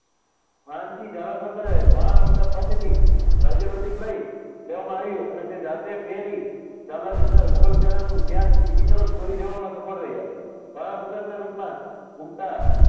માનસિંહ ઝાલા સરદારે મહારાણા પ્રતાપ પાસેથી રાજ્ય વૃત્તિ લઇ, લેવામાં આવ્યું અને તે જાતે પહેરી ઝાલા સરદાર મુગલ સેનાનું ધ્યાન બીજી તરફ દોરી જવામાં સફળ રહ્યા. મહારાણા પ્રતાપના રૂપમાં ઘુમતા